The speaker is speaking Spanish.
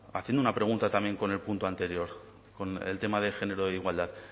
haciendo una pregunta también con el punto anterior con el tema de género e igualdad